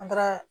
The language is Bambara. An taara